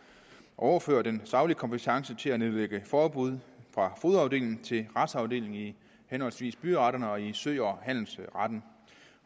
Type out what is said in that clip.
at overføre den saglige kompetence til at nedlægge forbud fra fogedafdelingen til retsafdelingen i henholdsvis byretterne og i sø og handelsretten